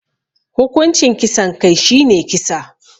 Hukuncin kisan kai shine kisa.